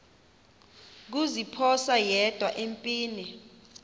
kuziphosa yedwa empini